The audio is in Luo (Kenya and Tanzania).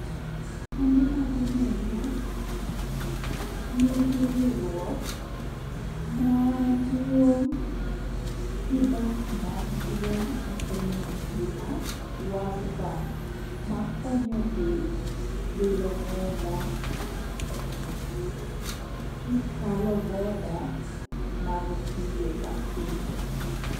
Kembe mag omenda nigi riwruok maduong' gi bank maduong' e piny mangima world bank makonyogi wilo omenda kikalo border mag pinje ka pinje.